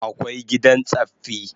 Akwai gidan tsaffi